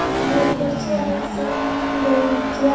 উনি ট্রেনড করছে। আর সেইখানে একটু বরং চেয়া--